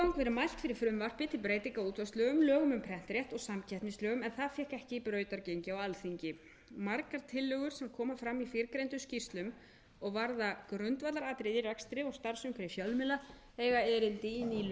verið mælt fyrir frumvarpi til breytinga á útvarpslögum lögum um prentrétt og samkeppnislögum en það fékk ekki brautargengi á alþingi margar tillögur sem komu fram í tilgreindum skýrslum og varða grundvallaratriði í rekstri og starfsumhverfi fjölmiðla eiga erindi í ný lög á þessu